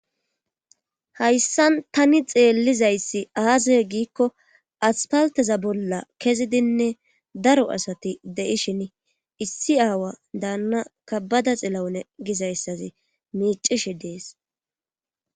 hayssan tani xeellizayssi aasa giikko aspalteza bolla kezidinne daro asati de7ishin issi aawa daanna kabbada xilawune gizayssazi miicishi dees